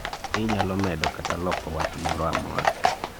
bende inyalo medo kata loko wach moro amora ?